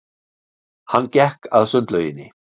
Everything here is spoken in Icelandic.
Hann gekk að sundlauginni.